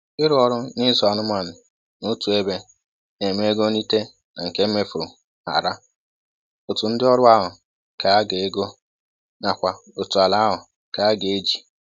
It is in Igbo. Ịrụ ọrụ na ịzụ anụmanụ n'otu ebe na-eme ego nrite na nke emefuru hara, otu ndị ọrụ ahụ ka a ga-ego, nakwa otu ala ahụ ka a ga-eji